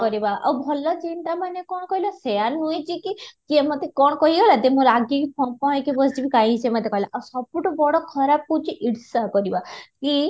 କରିବା ଆଉ ଭଲ ଚିନ୍ତା ମାନେ କ'ଣ କହିଲ ସେୟା ନୁହେଁ ଯେ କି କିଏ ମୋତେ କ'ଣ କହିଲା ଯଦି ମୁଁ ରାଗି କି ଫଁ ପହଁ ହେଇକି ବସି ଯିବି କାହିଁ ସେ ମୋତେ କହିଲା ଆଉ ସବୁଠୁ ବଡ ଖରାପ ହେଉଛି ଈର୍ଷା କରିବା କି